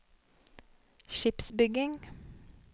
skipsbygging